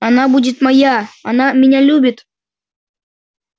она будет моя она меня любит